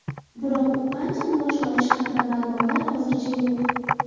Biroq, u qancha maosh olishi haqida ma’lumotlar hozircha yo‘q.